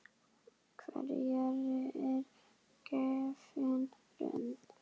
Hverjum er gefin rödd?